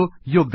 LTD